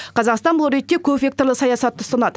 қазақстан бұл ретте көпвекторлы саясатты ұстанады